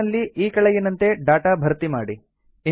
table ನಲ್ಲಿ ಈ ಕೆಳಗಿನಂತೆ ಡಾಟಾ ಭರ್ತಿ ಮಾಡಿ